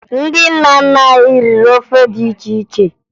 Ndị nna nna anyị riri ofe dị iche iche